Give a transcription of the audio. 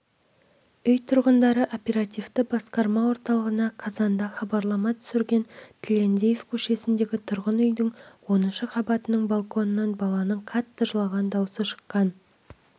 үй тұрғындары оперативті басқарма орталығына қазанда хабарлама түсірген тілендиев көшесіндегі тұрғын үйдің оныншы қабатының балконынан баланың қатты жылаған дауысы шыққан